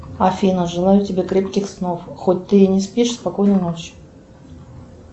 афина желаю тебе крепких снов хоть ты и не спишь спокойной ночи